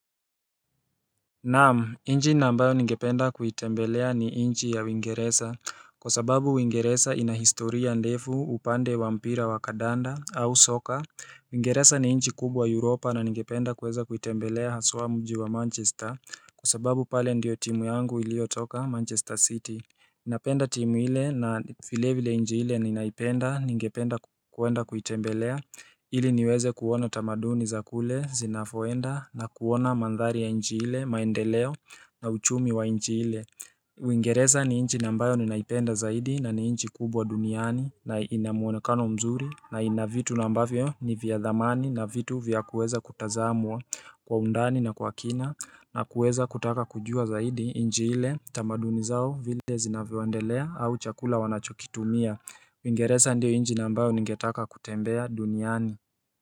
Naam, nchi ambayo ningependa kuitembelea ni nchi ya uingereza, kwa sababu uingereza inahistoria ndefu upande wa mpira wa kadanda au soka. Uingereza ni nchi kubwa Europa na ningependa kuweza kuitembelea haswa mji wa Manchester, kwa sababu pale ndiyo timu yangu ilio toka Manchester City. Napenda timu ile na vile vile nchi ile ninaipenda, ningependa kuenda kuitembelea ili niweze kuona tamaduni za kule, zinavoenda na kuona mandhari ya nchi ile, maendeleo na uchumi wa nchi ile Uingereza ni nchi ambayo ninaipenda zaidi na ni nchi kubwa duniani na inamuonekano mzuri na inavitu ambavyo ni vya thamani na vitu vya kuweza kutazamwa kwa undani na kwa kina na kuweza kutaka kujua zaidi nchi ile tamaduni zao vile zinavyoendelea au chakula wanachokitumia. Uingereza ndio nchi nambayo ningetaka kutembea duniani.